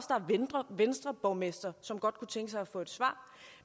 venstreborgmestre som godt kunne tænke sig at få et svar